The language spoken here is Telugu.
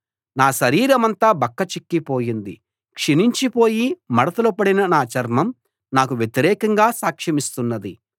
నా శరీరమంతా బక్కచిక్కిపోయింది క్షీణించిపోయి మడతలు పడిన నా చర్మం నాకు వ్యతిరేకంగా సాక్ష్యమిస్తున్నది